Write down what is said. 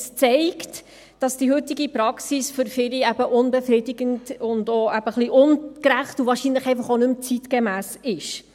Es zeigt, dass die heutige Praxis für viele unbefriedigend, ungerecht und wahrscheinlich auch nicht mehr zeitgemäss ist.